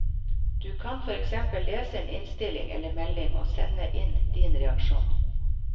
Du kan for eksempel lese en innstilling eller melding og sende inn din reaksjon.